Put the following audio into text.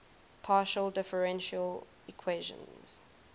partial differential equations